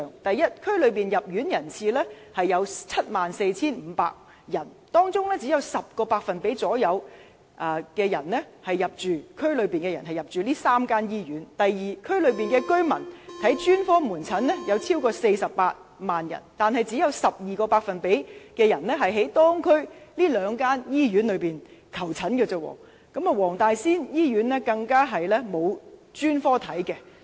第一，該年區內入院人次有 74,500 人，當中只有大約 10% 是區內人士；第二，區內有48萬名居民需要專科門診服務，但只有 12% 的人向區內兩間醫院求診，而黃大仙醫院沒有提供專科門診服務。